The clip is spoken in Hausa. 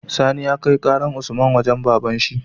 Sani ya kai karar usman wajan baban shi